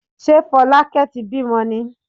Ṣé Fọlákẹ́ ti bímọ ni?